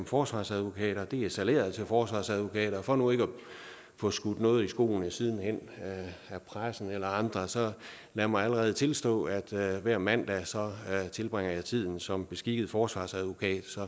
forsvarsadvokater er salæret til forsvarsadvokater og for nu ikke at få skudt noget i skoene sidenhen af pressen eller andre så lad mig allerede nu tilstå at jeg hver mandag tilbringer jeg tiden som beskikket forsvarsadvokat så